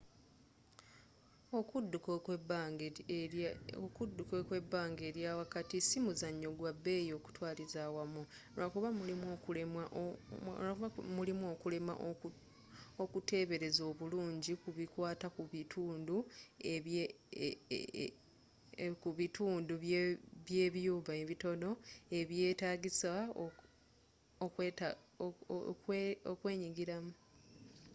okudduka okw'ebbanga eryawakati si muzanyo gwa bbeyi okutwaliza awamu lwakuba mulimu okulemwa okutebereza obulungi kubikwata ku bitundu by'ebyuma ebitono eby'etagiisa okwenyigiramu